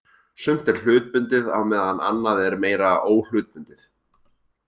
Sumt er hlutbundið á meðan annað er meira óhlutbundið.